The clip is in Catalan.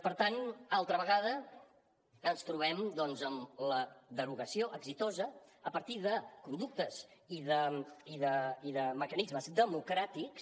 per tant altra vegada ens trobem doncs amb la derogació exitosa a partir de conductes i de mecanismes democràtics